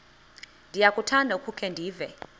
ndiyakuthanda ukukhe ndive